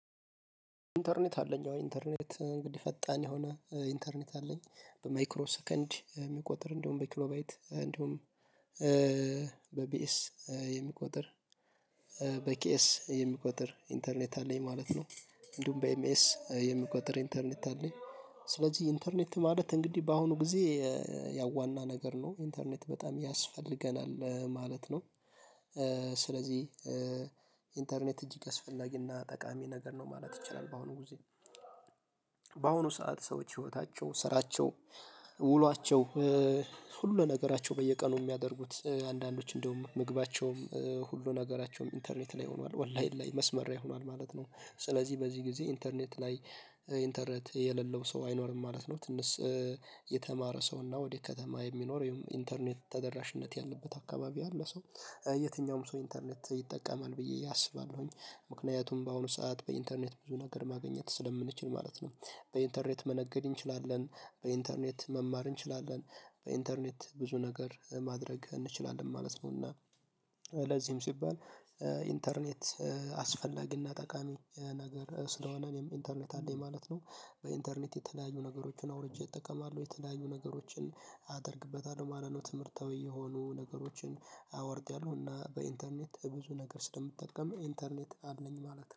ኢንተርኔት አለኝ፦ አሁን ኢንተርኔት እንግዲህ ፈጣን የሆነ ኢንተርኔት አለኝ በማይክሮ ሰከንድ የሚቆጥር እንደውም በኪሎባይት እንደውም በቢኤስ የሚቆጥር፤ በኪኤስ የሚቆጥር ኢንተርኔት አለኝ ማለት ነው። እንዲሁም በኤምኤስ የሚቆጥር ኢንተርኔት አለኝ ስለዚህ ኢንተርኔት ማለት እንግዲህ በአሁኑ ጊዜ ያ ዋና ነገር ነው ኢንተርኔት በጣም ያስፈልገናል ማለት ነው። ስለዚህ ኢንተርኔት እጅግ አስፈላጊና ጠቃሚ ነገር ነው ማለት ይቻላል በአሁኑ ጊዜ። በአሁኑ ሰዓት ሰዎች ህይወታቸው፤ ስራቸው፤ ውሏቸው ሁሉ ነገራቸው በየቀኑ የሚያደርጉት አንዳንዶች እንደውም ምግባቸውም ሁሉ ነገራቸውም ኢንተርኔት ላይ ሆኗል፦ ኦንላይን ላይ መስመር ላይ ሆኗል ማለት ነው። ስለዚህ በዚህ ጊዜ ኢንተርኔት ላይ ኢንተርኔት የሌለው ሰው አይኖርም ማለት ነው ትንሽ የተማረ ሰው እና ወደ ከተማ የሚኖር ይሄም ኢንተርኔት ተደራሽነት ያለበት አካባቢ ያለ ሰው የትኛውም ሰው ኢንተርኔት ይጠቀማል ብዬ አስባለሁኝ። ምክንያቱም በአሁኑ ሰዓት በኢንተርኔት ብዙ ነገር ማግኘት ስለምንችል ማለት ነው። በኢንተርኔት መነገድ እንችላለን፤ በኢንተርኔት መማር እንችላለን፤ በኢንተርኔት ብዙ ነገር ማድረግ እንችላለን ማለት ነው። እና ለዚህም ሲባል ኢንተርኔት አስፈላጊና ጠቃሚ ነገር ስለሆነ እኔም ኢንተርኔት አለኝ ማለት ነው። በኢንተርኔት የተለያዩ ነገሮችን አውርጄ እጠቀማለሁ የተለያዩ ነገሮችን አደርግበታለሁ ማለት ነው ትምህርታዊ የሆኑ ነገሮችን አወርደዋለሁና እና በኢንተርኔት ብዙ ነገር ስለምትጠቀመው ኢንተርኔት አድ ነኝ ማለት ነው